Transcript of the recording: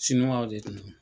de tun don.